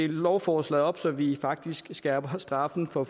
lovforslaget op så vi faktisk skærper straffen for